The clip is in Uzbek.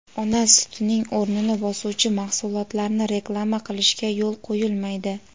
ona sutining o‘rnini bosuvchi mahsulotlarni reklama qilishga yo‘l qo‘yilmaydi;.